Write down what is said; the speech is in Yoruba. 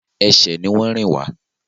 Ẹsẹ̀ ni wọn rìn wá.